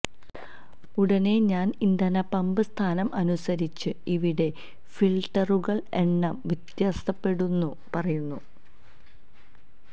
ഉടനെ ഞാൻ ഇന്ധന പമ്പ് സ്ഥാനം അനുസരിച്ച് ഇവിടെ ഫിൽട്ടറുകൾ എണ്ണം വ്യത്യാസപ്പെടുന്നു പറയുന്നു